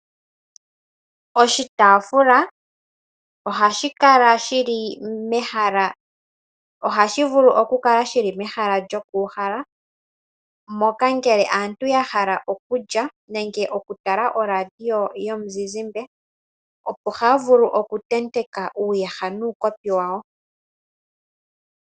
Oshitaafula ohashi vulu okukala shili mehala lyoku uhala yahala moka nge aantu yahala okulya nenge okutala oradio yomuzizimba opo haya vulu oku tenteka uuyaha nuukopi wawo.